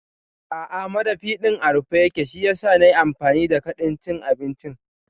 A'a madafi ɗin a rufe yake shiyasa nayi amfani da kadin cin abinci